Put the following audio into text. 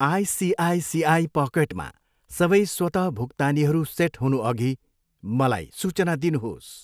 ICICI पकेटमा सबै स्वत भुक्तानीहरू सेट हुनुअघि मलाई सूचना दिनुहोस्।